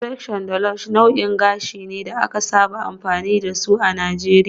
X-pression da Lush nau'ikan nau'ikan gashi ne da aka saba amfani da su a Najeriya a Najeriya